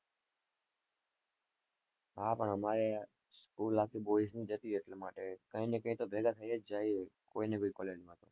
હા પણ અમારે school આખી boys ની જ હતી એટલા માટે કઈને કઈ તો ભેગા થઇ જ જઈએ, કોઈને કોઈ college માં